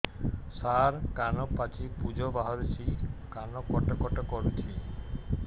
ସାର କାନ ପାଚି ପୂଜ ବାହାରୁଛି କାନ କଟ କଟ କରୁଛି